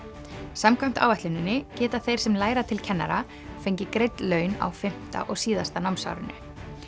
samkvæmt áætluninni geta þeir sem læra til kennara fengið greidd laun á fimmta og síðasta námsárinu